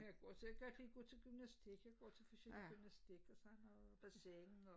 Jeg går til rigtig god til gymnastik jeg går til forskellig gymnastik og så har vi bassin og